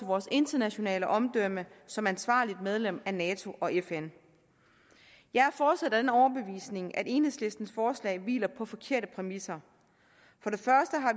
vores internationale omdømme som ansvarligt medlem af nato og fn jeg er fortsat af den overbevisning at enhedslistens forslag hviler på forkerte præmisser